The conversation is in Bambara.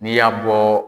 N'i y'a bɔ